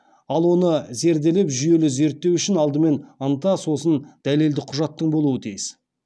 ал оны зерделеп жүйелі зерттеу үшін алдымен ынта сосын дәлелді құжатың болуы тиіс